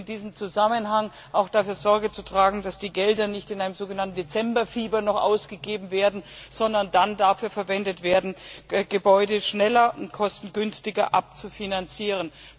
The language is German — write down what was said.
In diesem Zusammenhang ist auch dafür Sorge zu tragen, dass die Gelder nicht in einem so genannten Dezember Fieber noch ausgegeben werden, sondern dann dafür verwendet werden, Gebäude schneller und kostengünstiger abzufinanzieren.